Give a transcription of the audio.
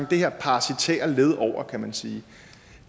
det her parasitære led over kan man sige